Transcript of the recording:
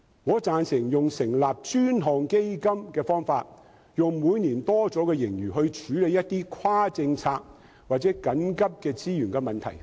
我贊成採用成立專項基金的方法，利用每年的盈餘來處理一些跨政策或緊急的資源問題。